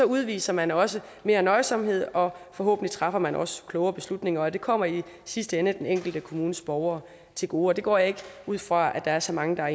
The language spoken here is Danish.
udviser man også mere nøjsomhed og forhåbentlig træffer man også klogere beslutninger og det kommer i sidste ende den enkelte kommunes borgere til gode og det går jeg ikke ud fra at der er så mange der er